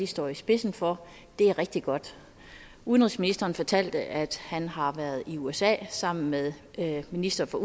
står i spidsen for er rigtig godt udenrigsministeren fortalte at han har været i usa sammen med ministeren for